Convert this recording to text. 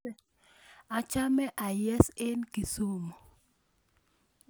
Amache ayes eng Kisumu